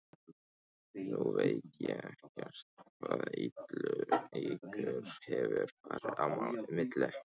Nú veit ég ekkert hvað ykkur hefur farið á milli?